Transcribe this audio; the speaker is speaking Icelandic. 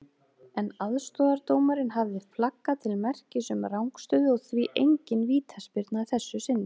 En aðstoðardómarinn hafði flaggað til merkis um rangstöðu og því engin vítaspyrna að þessu sinni.